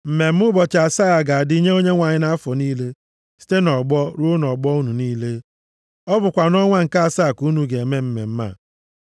Mmemme ụbọchị asaa a ga-adị nye Onyenwe anyị nʼafọ niile, site nʼọgbọ ruo nʼọgbọ unu niile. Ọ bụkwa nʼọnwa nke asaa ka unu ga-eme mmemme a.